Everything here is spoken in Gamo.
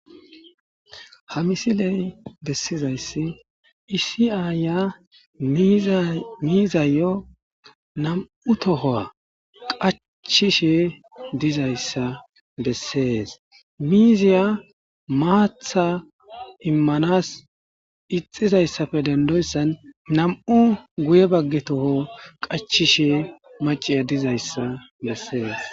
Ha misiley bessizayssi iisi7aaya miizayo nam7u tohowa qacchishe dizayssa bessees miiziya maatha immanas ixizayssafe dendoyssan nam7u guye bagge toho qachishe maceya dizayssa bessees.